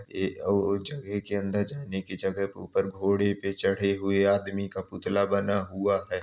जगह के अंदर जाने की जगह के ऊपर घोड़े पे चढ़े हुए आदमी का पुतला बना हुआ है।